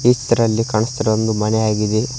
ಈ ಚಿತ್ರದಲ್ಲಿ ಕಾಣಸ್ತಿರುವೊಂದು ಮನೆ ಆಗಿದೆ.